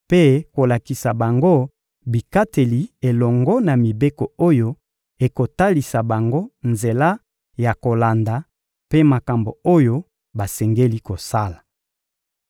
mpe kolakisa bango bikateli elongo na mibeko oyo ekotalisa bango nzela ya kolanda mpe makambo oyo basengeli kosala.